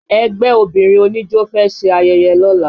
Ẹgbẹ́ obìnrin oníjó fẹ́ ṣe ayẹyẹ lọ́la